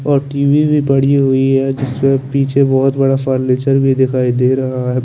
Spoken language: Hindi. और टी_वि भी पड़ी हुई है जिसमे पीछे बोहोत बड़ा फर्नीचर दिखाई दे रहा है।